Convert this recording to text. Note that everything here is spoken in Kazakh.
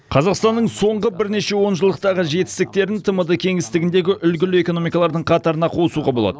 қазақстанның соңғы бірнеше онжылдықтағы жетістіктерін тмд кеңістігіндегі үлгілі экономикалардың қатарына қосуға болады